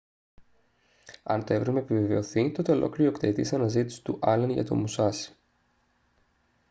αν το εύρημα επιβεβαιωθεί τότε ολοκληρώνεται η οκταετής αναζήτηση του άλεν για το μουσάσι